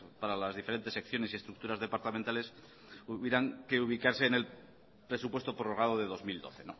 para las diferentes secciones y estructuras departamentales hubieran que ubicarse en el presupuesto prorrogado de dos mil doce